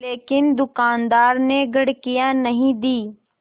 लेकिन दुकानदार ने घुड़कियाँ नहीं दीं